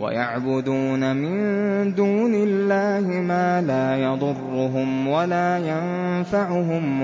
وَيَعْبُدُونَ مِن دُونِ اللَّهِ مَا لَا يَضُرُّهُمْ وَلَا يَنفَعُهُمْ